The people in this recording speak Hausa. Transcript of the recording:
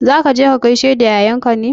Za ka je ka gaishe da yayanka ne?